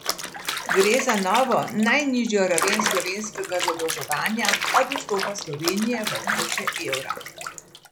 Gre za za novo najnižjo raven slovenskega zadolževanja od vstopa Slovenije v območje evra.